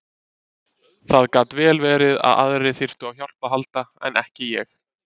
Það gat vel verið að aðrir þyrftu á hjálp að halda en ekki ég.